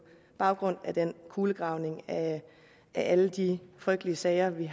baggrund af den kulegravning af alle de frygtelige sager vi